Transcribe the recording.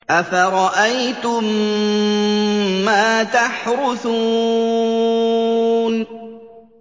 أَفَرَأَيْتُم مَّا تَحْرُثُونَ